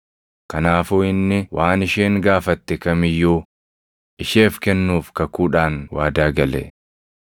kanaafuu inni waan isheen gaafatte kam iyyuu isheef kennuuf kakuudhaan waadaa gale.